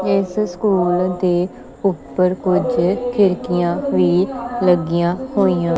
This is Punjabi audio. ਇਸ ਸਕੂਲ ਦੇ ਉੱਪਰ ਕੁਝ ਖਿੜਕੀਆਂ ਵੀ ਲੱਗੀਆਂ ਹੋਈਆਂ--